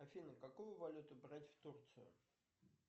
афина какую валюту брать в турцию